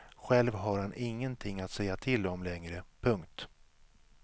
Själv har han ingenting att säga till om längre. punkt